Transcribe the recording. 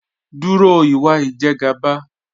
Dúró ìwà Ìjẹ̀gàba